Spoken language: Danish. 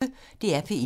DR P1